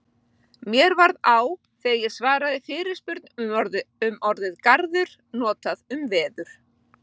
Mér varð á þegar ég svaraði fyrirspurn um orðið garður notað um veður.